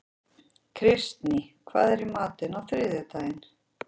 Kristný, hvað er í matinn á þriðjudaginn?